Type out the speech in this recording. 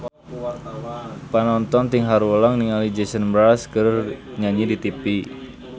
Panonton ting haruleng ningali Jason Mraz keur nyanyi di tipi